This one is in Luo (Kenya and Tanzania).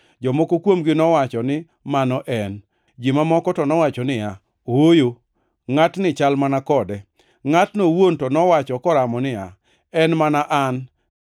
Jomoko kuomgi nowacho ni mano en. Ji mamoko to nowacho niya, “Ooyo, ngʼatni chal mana kode.” Ngʼatno owuon to nowacho koramo niya, “En mana an.”